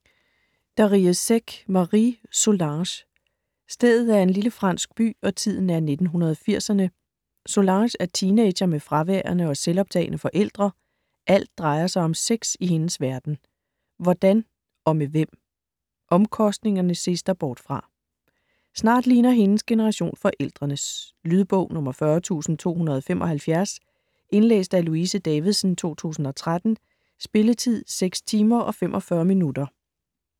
Darrieussecq, Marie: Solange Stedet er en lille fransk by, og tiden er 1980'erne. Solange er teenager med fraværende og selvoptagne forældre. Alt drejer sig om sex i hendes verden. Hvordan? Og med hvem? Omkostningerne ses der bort fra. Snart ligner hendes generation forældrenes. Lydbog 40275 Indlæst af Louise Davidsen, 2013. Spilletid: 6 timer, 45 minutter.